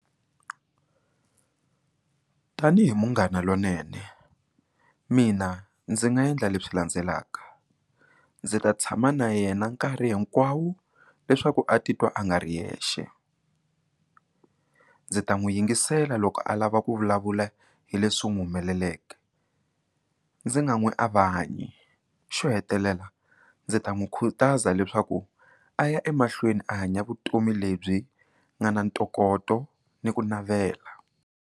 Tanihi munghana lonene mina ndzi nga endla leswi landzelaka, ndzi ta tshama na yena nkarhi hinkwawo leswaku a titwa a nga ri yexe ndzi ta n'wi yingisela loko a lava ku vulavula hi leswi n'wi humeleleke ndzi nga n'wi avahanyi xo hetelela ndzi ta n'wi khutaza leswaku a ya emahlweni a hanya vutomi lebyi nga na ntokoto ni ku navela.